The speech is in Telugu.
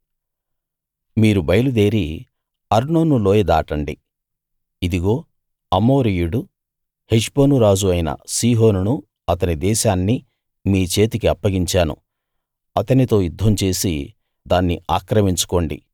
మీరు బయలుదేరి అర్నోను లోయ దాటండి ఇదిగో అమోరీయుడు హెష్బోను రాజు అయిన సీహోనునూ అతని దేశాన్నీ మీ చేతికి అప్పగించాను అతనితో యుద్ధం చేసి దాన్ని ఆక్రమించుకోండి